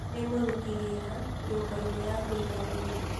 Nĩ mũruti wĩra nyũmba-inĩ ya kũiga mĩrĩ.